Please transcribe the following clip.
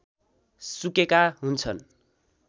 सुकेका हुन्छन्